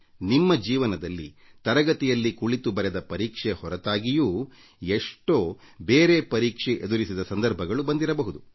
ನಿಮ್ಮ ಜೀವನದಲ್ಲಿ ತರಗತಿಯಲ್ಲಿ ಕುಳಿತು ಬರೆದ ಪರೀಕ್ಷೆ ಹೊರತಾಗಿ ಎಷ್ಟೋ ಇತರ ಪರೀಕ್ಷೆ ಎದುರಿಸಿದ ಸಂದರ್ಭಗಳು ಬಂದಿರಬಹುದು